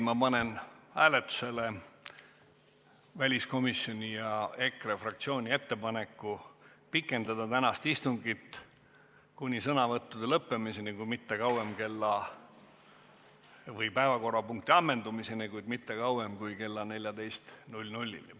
Ma panen hääletusele väliskomisjoni ja EKRE fraktsiooni ettepaneku pikendada tänast istungit kuni päevakorrapunkti ammendumiseni, kuid mitte kauem kui kella 14-ni.